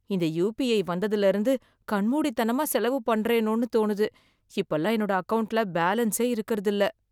இந்த யுபிஐ வந்ததுல இருந்து கண்மூடித்தனமா செலவு பண்றேனோன்னு தோணுது, இப்பல்லாம் என்னோட அக்கவுண்ட்ல பேலன்ஸே இருக்கறது இல்ல.